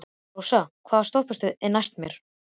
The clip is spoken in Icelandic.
Rósar, hvaða stoppistöð er næst mér?